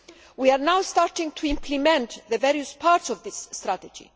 We are now starting to implement the various parts of this strategy.